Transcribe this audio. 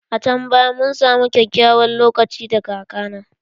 A can baya mun samu kyakkyawan lokaci da kaka na